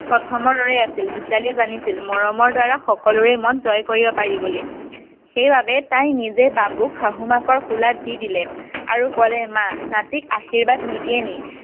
প্ৰথমৰ দৰেই আছিল ভিতালীয়ে জানিছিল মৰমৰ দ্বাৰা সকলোৰে মন জয় কৰিব পাৰি বুলি সেই বাবে তাই নিজে বাবুক শাহু মাকৰ কোলাত দি দিলে আৰু ক'লে মা নাতিক আশিবাদ নিদিয়ে নেকি